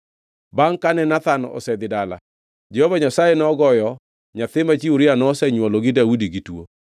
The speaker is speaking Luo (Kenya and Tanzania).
Bangʼ kane Nathan osedhi dala, Jehova Nyasaye nogoyo nyathi ma chi Uria nosenywolo ni Daudi gi tuo.